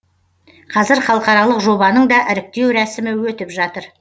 қазір халықаралық жобаның да іріктеу рәсімі өтіп жатыр